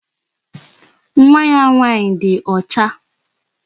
Nwa ya nwaanyị di ọcha.